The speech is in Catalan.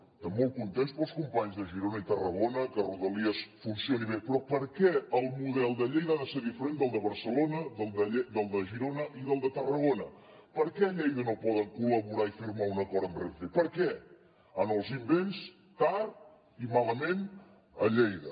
estem molt contents pels companys de girona i tarragona que rodalies funcioni bé però per què el model de lleida ha de ser diferent del de barcelona del de girona i del de tarragona per què a lleida no poden col·laborar i firmar un acord amb renfe per què en els invents tard i malament a lleida